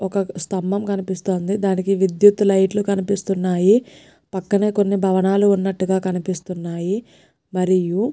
ఒక్క స్థంభం కనిపిస్తోందిదానికి విద్యుత్ లైట్ లు కనిపిస్తున్నాయి పక్కనే కొన్ని భవనాలు ఉన్నట్లుగా కనిపిస్తున్నాయి మరియు.